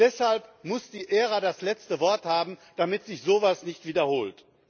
Deshalb muss die ERA das letzte Wort haben, damit sich so etwas nicht wiederholt.